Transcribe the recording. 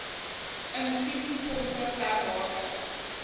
infusiepompe ter waarde